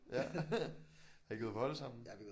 Ja har I gået på hold sammen?